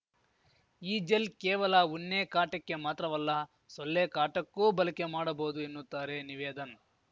ಈ ಜೆಲ್‌ ಕೇವಲ ಉನ್ನೇ ಕಾಟಕ್ಕೆ ಮಾತ್ರವಲ್ಲ ಸೊಲ್ಲೆ ಕಾಟಕ್ಕೂ ಬಲಕೆ ಮಾಡಬಹುದು ಎನ್ನುತ್ತಾರೆ ನಿವೇದನ್‌